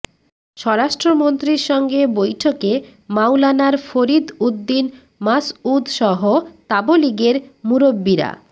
স্বরাষ্ট্রমন্ত্রীর সঙ্গে বৈঠকে মাওলানার ফরীদ উদ্দীন মাসঊদসহ তাবলিগের মুরব্বিরা